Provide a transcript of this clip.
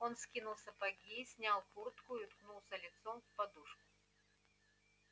он скинул сапоги снял куртку и уткнулся лицом в подушку